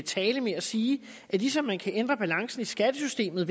tale med at sige at ligesom man kan ændre balancen i skattesystemet